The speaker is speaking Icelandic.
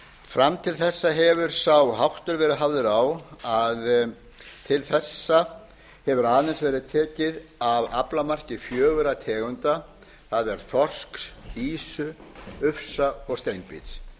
fram til þessa hefur sá háttur verið hafður á að til þessa hefur aðeins verið tekið af aflamarki fjögurra tegunda það er þorsks ufsa ýsu ufsa og steinbíts